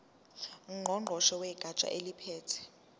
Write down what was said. ngqongqoshe wegatsha eliphethe